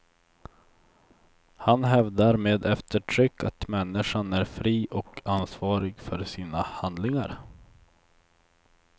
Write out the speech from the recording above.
Han hävdar med eftertryck att människan är fri och ansvarig för sina handlingar.